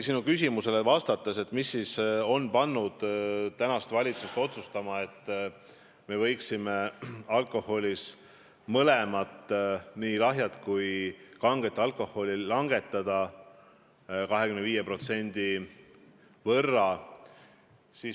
Sa küsisid, mis siis on pannud valitsust otsustama, et me võiksime nii lahja kui kange alkoholi aktsiisi langetada 25% võrra.